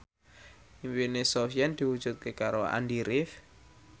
impine Sofyan diwujudke karo Andy rif